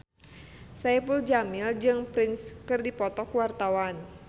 Saipul Jamil jeung Prince keur dipoto ku wartawan